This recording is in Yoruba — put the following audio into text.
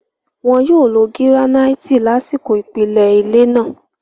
Wọ́n yóò lo gíránáìtì lásìkò ìpìlẹ̀ ilé náà.